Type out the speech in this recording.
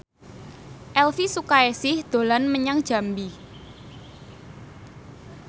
Elvy Sukaesih dolan menyang Jambi